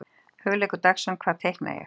Hugleikur Dagsson: Hvað teikna ég?